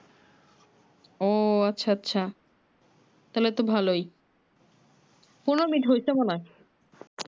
ও আচ্ছা আচ্ছা তাহলে তো ভালোই পনেরো মিনিট হয়ছে মনে হয়